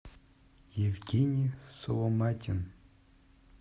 евгений соломатин